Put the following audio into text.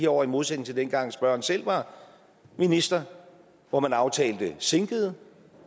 år i modsætning til dengang spørgeren selv var minister hvor man aftalte sænkede